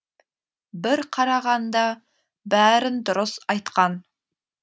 бір қарағанда бәрін дұрыс айтқан